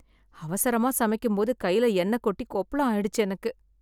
அவசரமா சமைக்கும் போது கைல எண்ணெய் கொட்டி கொப்பளம் ஆயிடுச்சு எனக்கு.